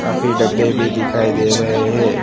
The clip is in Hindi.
काफी डब्बे भी दिखाई दे रहे हैं।